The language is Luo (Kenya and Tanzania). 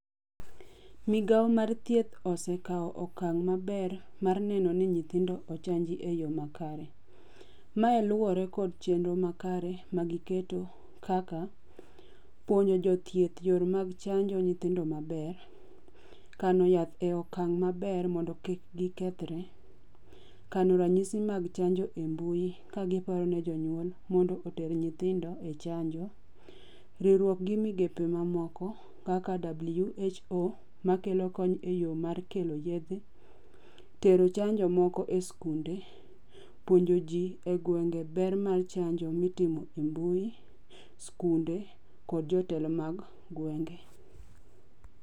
Migawo mar thieth osekawo okang' maber mar neno ni nyithindo ochanji e yo makare. Mae luwore kod chenro makare ma giketo kaka, puonjo jo thieth yor mag chanjo nyithindo maber. Kano yath e okang' maber mondo kik gikethre. Kano ranyisi mag chanjo e mbui ka giparo ne jonyuol mondo oter nyithindo e chanjo. Riwruok gi migepe mamoko kaka WHO makelo kony e yo mar kelo yedhe. Tero chanjo moko e skunde. Puonjo ji e gwenge ber mar chanjo mitimo e mbui, skunde, kod jotelo mag gwenge.